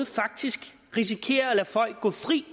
faktisk risikerer at lade folk gå fri